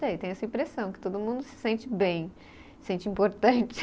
Sei, tenho essa impressão, que todo mundo se sente bem, sente importante.